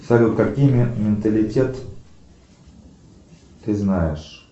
салют какие менталитет ты знаешь